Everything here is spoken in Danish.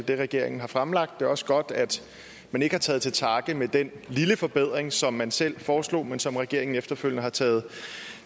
det regeringen har fremlagt er også godt at man ikke har taget til takke med den lille forbedring som man selv foreslog men som regeringen efterfølgende har taget